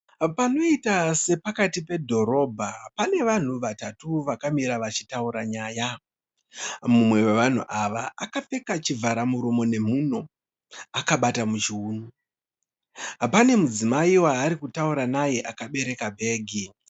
Panoiita sepakati pedhorobbha pane vanhu vatatu vakamira vari kutaura nyaya, mumwe wevanhu ava akapfeka chivharamuromo nemhuno akabata muchiuno. Pane mudzimai waari kutaura naye akabereka bhegi.